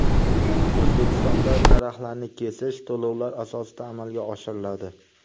O‘zbekistonda daraxtlarni kesish to‘lovlar asosida amalga oshiriladi.